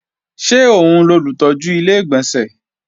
Ṣé òun lolùtọ́jú Ilé-ìgbọ̀nsẹ̀?